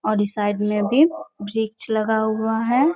और इस साइड में भी वृक्ष लगा हुआ है।